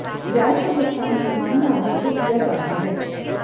ब्याज का भुगतान छमाही आधार पर किया जाता है